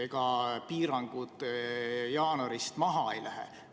Ega piirangud jaanuaris maha ei lähe.